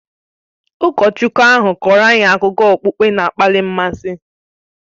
Ụkọchukwu ahụ kọọrọ anyị akụkọ okpukpe na-akpali mmasị